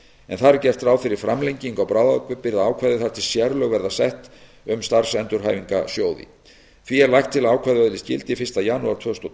en þar er gert ráð fyrir framlengingu á bráðabirgðaákvæði þar til sérlög verða sett um starfsendurhæfingarsjóði því er lagt til að ákvæðið öðlist gildi fyrsta janúar tvö þúsund og